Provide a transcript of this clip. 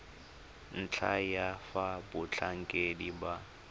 ntlha ya fa batlhankedi ba